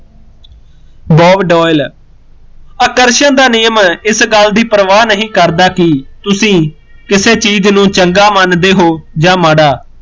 bob Doyle ਆਕਰਸ਼ਣ ਦਾ ਨਿਯਮ ਇਸ ਗੱਲ ਦੀ ਪ੍ਰਵਾਹ ਨਹੀਂ ਕਰਦਾ ਕਿ ਤੁਸੀਂ ਕਿਸੇ ਚੀਜ਼ ਨੂੰ ਚੰਗਾ ਮੰਨਦੇ ਹੋ ਜਾਂ ਮਾੜਾ